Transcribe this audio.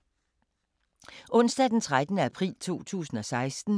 Onsdag d. 13. april 2016